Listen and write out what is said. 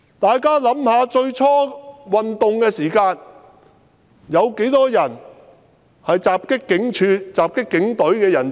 大家想一想，運動初期，有多少人襲擊警署、襲擊警務人員？